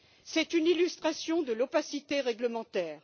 C'est une illustration de l'opacité réglementaire.